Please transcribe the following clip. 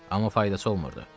Amma faydası olmurdu.